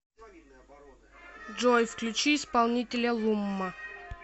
джой включи исполнителя лумма